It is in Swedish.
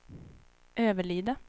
Överlida